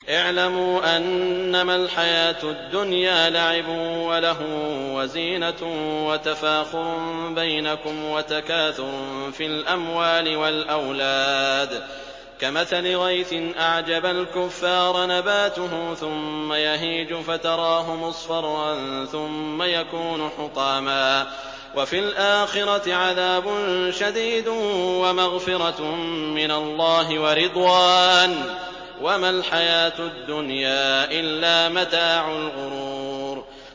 اعْلَمُوا أَنَّمَا الْحَيَاةُ الدُّنْيَا لَعِبٌ وَلَهْوٌ وَزِينَةٌ وَتَفَاخُرٌ بَيْنَكُمْ وَتَكَاثُرٌ فِي الْأَمْوَالِ وَالْأَوْلَادِ ۖ كَمَثَلِ غَيْثٍ أَعْجَبَ الْكُفَّارَ نَبَاتُهُ ثُمَّ يَهِيجُ فَتَرَاهُ مُصْفَرًّا ثُمَّ يَكُونُ حُطَامًا ۖ وَفِي الْآخِرَةِ عَذَابٌ شَدِيدٌ وَمَغْفِرَةٌ مِّنَ اللَّهِ وَرِضْوَانٌ ۚ وَمَا الْحَيَاةُ الدُّنْيَا إِلَّا مَتَاعُ الْغُرُورِ